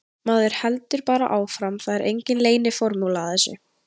Maður heldur bara áfram, það er engin leyniformúla að þessu.